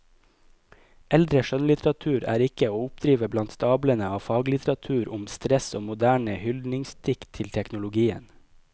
Eldre skjønnlitteratur er ikke å oppdrive blant stablene av faglitteratur om stress og moderne hyldningsdikt til teknologien.